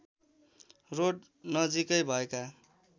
road नजिकै भएका